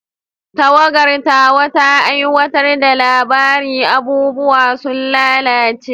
Tawagar tawa ta aiwatar da labarin "Abubuwa sun lalace".